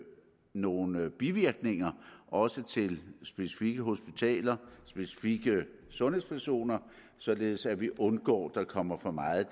nogle bivirkninger også til specifikke hospitaler og specifikke sundhedspersoner således at vi undgår at der kommer for meget